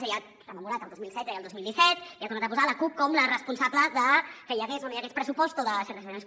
és a dir ha rememorat el dos mil setze i el dos mil disset i ha tornat a posar la cup com la responsable de que hi hagués o no hi hagués pressupost o de certes situacions